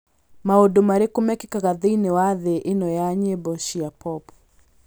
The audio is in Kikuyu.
maũndũ marĩkũ mekĩkaga thĩinĩ wa thĩ ĩno ya nyĩmbo cia pop